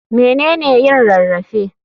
Mene ne yin rarrafe?